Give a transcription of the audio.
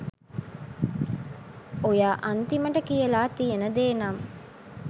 ඔයා අන්තිමට කියලා තියෙන දේ නම්